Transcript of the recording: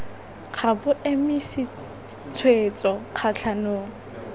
ga bo emise tshwetso kgatlhanong